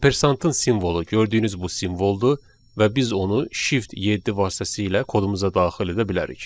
Ampersantın simvolu gördüyünüz bu simvoldur və biz onu shift 7 vasitəsilə kodumuza daxil edə bilərik.